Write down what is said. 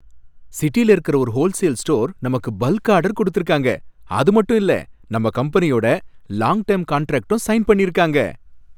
சிட்டில இருக்கிற ஒரு ஹோல்சேல் ஸ்டோர் நமக்கு பல்க் ஆர்டர் குடுத்துருக்காங்க. அது மட்டும் இல்லை, நம்ம கம்பெனியோட லாங் டெர்ம் கான்ட்ராக்டும் சைன் பண்ணிருக்காங்க.